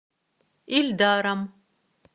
ильдаром